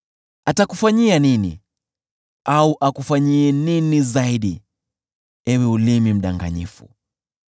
Atakufanyia nini, au akufanyie nini zaidi, ewe ulimi mdanganyifu?